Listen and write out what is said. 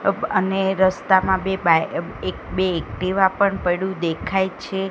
અબ અને રસ્તામાં બે બાય અ એક બે એકટીવા પણ પયડું દેખાય છે.